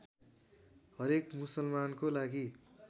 हरेक मुसलमानको लागि